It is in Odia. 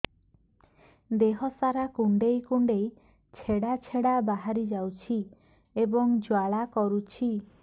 ଦେହ ସାରା କୁଣ୍ଡେଇ କୁଣ୍ଡେଇ ଛେଡ଼ା ଛେଡ଼ା ବାହାରି ଯାଉଛି ଏବଂ ଜ୍ୱାଳା କରୁଛି